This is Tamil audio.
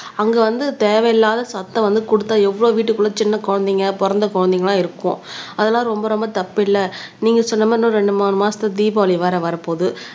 அங்க வந்து தேவையில்லாத சத்தம் வந்து குடுத்தா எவ்வளவு வீட்டுக்குள்ள சின்ன குழந்தைங்க பொறந்த குழந்தைங்கெல்லாம் இருக்கும் அதெல்லாம் ரொம்ப ரொம்ப தப்பு இல்ல நீங்க சொன்ன மாரி இன்னும் ரெண்டு மூணு மாசத்துல தீபாவளி வேற வரப்போகுது